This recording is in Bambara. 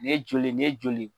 Ni ye joli ? Ni ye joli ?